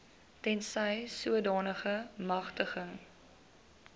tensy sodanige magtiging